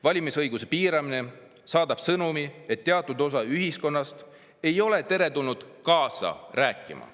Valimisõiguse piiramine saadab sõnumi, et teatud osa ühiskonnast ei ole teretulnud kaasa rääkima.